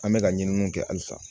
An bɛka ka ɲininiw kɛ halisa